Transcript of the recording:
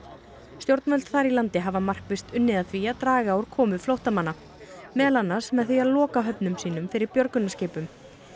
stjórnvöld þar í landi hafa markvisst unnið að því að draga úr komu flóttamanna meðal annars með því að loka höfnum sínum fyrir björgunarskipum